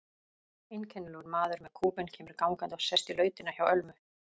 Einkennilegur maður með kúbein kemur gangandi og sest í lautina hjá Ölmu.